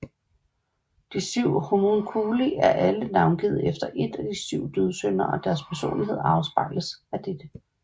De syv Homunculi er alle navngivet efter ét af de 7 dødssynder og deres personlighed afspejles af dette